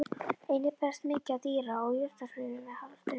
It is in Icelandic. Einnig berst mikið af dýra- og jurtasvifi með hafstraumum.